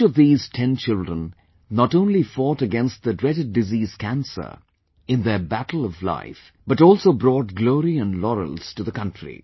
But each of these Ten children, not only fought against the dreaded disease cancer in their battle of life, but also brought glory & laurels to the country